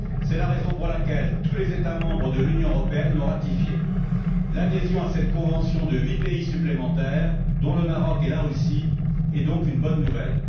C'est la raison pour laquelle tous les États membres de l'Union européenne l'ont ratifiée. L'adhésion à cette convention de huit pays supplémentaires, dont le Maroc et la Russie, est donc une bonne nouvelle.